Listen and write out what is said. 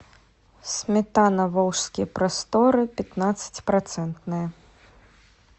сметана волжские просторы пятнадцати процентная